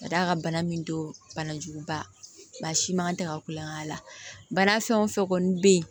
Ka d'a kan bana min don banajuguba siman tɛ ka kulon kɛ a la bana fɛn o fɛn kɔni bɛ yen